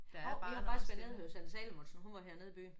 Hov jeg har faktisk været nede at høre Sanne Salomonsen. Hun var hernede i byen